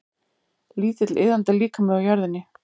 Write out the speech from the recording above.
Lítill iðandi líkami á jörðinni.